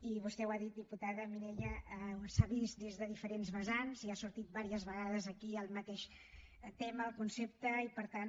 i vostè ho ha dit diputada mireia s’ha vist des de diferents vessants i ha sortit unes quantes vegades aquí el mateix tema el concepte i per tant